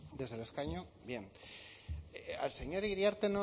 desde el escaño bien al señor iriarte